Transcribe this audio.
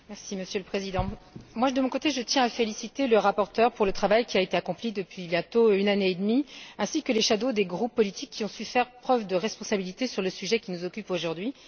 Monsieur le Président, de mon côté, je tiens à féliciter le rapporteur pour le travail qui a été accompli depuis bientôt une année et demie, ainsi que les rapporteurs fictifs des groupes politiques, qui ont su faire preuve de responsabilité sur le sujet qui nous occupe aujourd'hui.